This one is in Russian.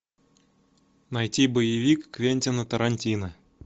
найти боевик квентина тарантино